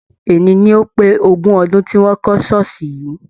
Eni ni ó pé ogún ọdún tí wọn kọ ṣooṣi yìí.